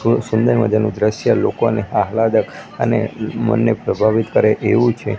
થોડુ સુંદર મજાનુ દ્રશ્ય લોકોને અને મનને પ્રભાવિત કરે એવુ છે.